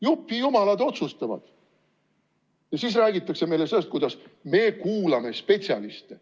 Jupijumalad otsustavad ja siis räägitakse meile sellest, kuidas me kuulame spetsialiste.